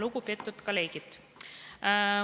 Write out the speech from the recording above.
Lugupeetud kolleegid!